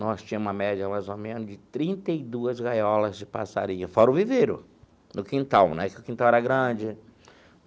Nós tínhamos uma média, mais ou menos, de trinta e duas gaiolas de passarinho, fora o viveiro, no quintal né, porque o quintal era grande.